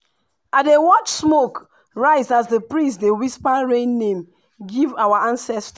i dey watch smoke rise as the priest dey whisper rain name give our ancestors.